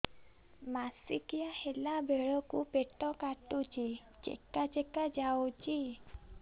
ମାସିକିଆ ହେଲା ବେଳକୁ ପେଟ କାଟୁଚି ଚେକା ଚେକା ଯାଉଚି